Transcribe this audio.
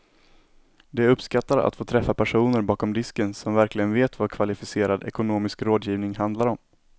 De uppskattar att få träffa personer bakom disken som verkligen vet vad kvalificerad ekonomisk rådgivning handlar om.